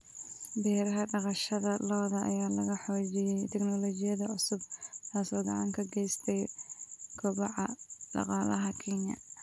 Beeraha dhaqashada lo'da ayaa lagu xoojiyay tignoolajiyada cusub, taasoo gacan ka geysata kobaca dhaqaalaha Kenya.